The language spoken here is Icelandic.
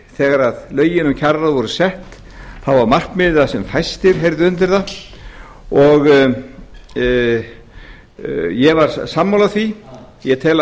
þegar lögin um kjararáð voru sett þá var markmiðið að sem fæstir heyrðu undir það ég var sammála háttvirtum ég tel